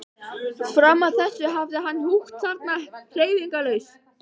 Fram að þessu hafði hann húkt þarna hreyfingarlaus.